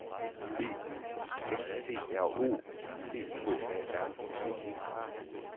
B I S T R O C H A R M E